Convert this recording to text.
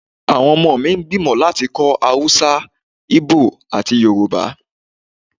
Awọn ọmọ mi n gbimọ lati kó̩ Awúsá, íbò ati Yoruba